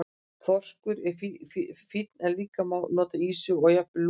Þorskur er fínn en líka má nota ýsu og jafnvel lúðu.